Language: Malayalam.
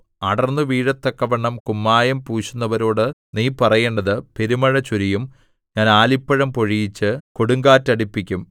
അടർന്നുവീഴത്തക്കവണ്ണം കുമ്മായം പൂശുന്നവരോട് നീ പറയേണ്ടത് പെരുമഴ ചൊരിയും ഞാൻ ആലിപ്പഴം പൊഴിയിച്ച് കൊടുങ്കാറ്റ് അടിപ്പിക്കും